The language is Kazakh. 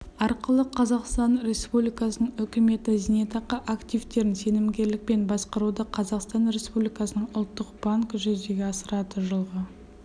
арқылы қазақстан республикасының үкіметі зейнетақы активтерін сенімгерлікпен басқаруды қазақстан республикасының ұлттық банкі жүзеге асырады жылғы